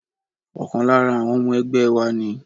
Ọkàn lára àwọn ẹgbẹ́ wa ni